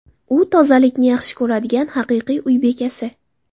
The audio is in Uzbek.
U tozalikni yaxshi ko‘radigan haqiqiy uy bekasi.